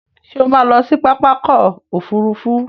Ṣé o má a lọ sí pápákọ̀ òfurufú.